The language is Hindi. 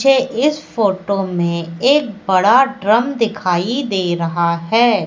मुझे इस फोटो में एक बड़ा ड्रम दिखाई दे रहा हैं।